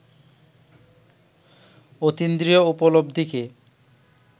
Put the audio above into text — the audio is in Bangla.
অতীন্দ্রিয় উপলব্ধিকে